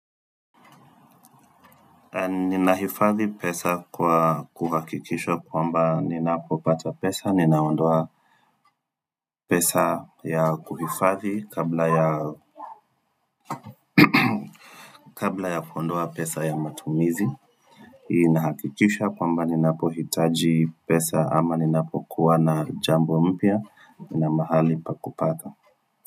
Ninahifadhi pesa kwa kuhakikisha kwamba ninapopata pesa, ninaondoa pesa ya kuhifadhi kabla ya kabla ya kuondoa pesa ya matumizi inahakikisha kwamba ninapohitaji pesa ama ninapokuwa na jambo mpya, ninamahali pakupata.